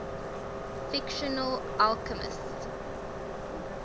fictional alchemists